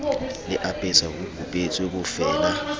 le apesa ho kupetswe bofeela